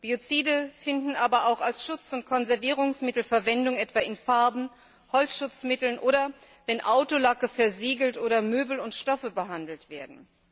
Biozide finden aber auch als Schutz und Konservierungsmittel Verwendung, etwa in Farben, Holzschutzmitteln oder wenn Autolacke versiegelt oder Möbel und Stoffe behandelt werden.